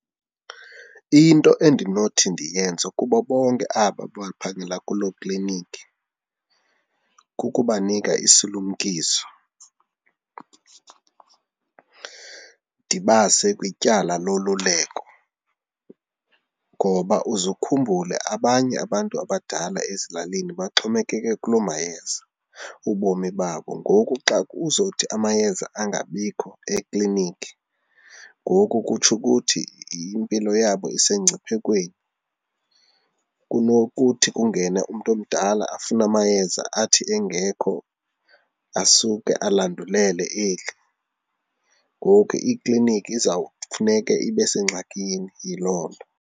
Into endinothi ndiyenze kubo bonke aba baphangela kuloo kliniki, kukubanika isilumkiso ndibase kwityala loluleko ngoba uze ukhumbule abanye abantu abadala ezilalini baxhomekeke kuloo mayeza, ubomi babo. Ngoku xa uzothi amayeza angabikho ekliniki ngoku kutsho ukuthi impilo yabo isemngciphekweni kunokuthi kungene umntu omdala afune amayeza athi engekho asuke alandulela eli. Ngoku ikliniki izawufuneke ibe sengxakini yiloo nto.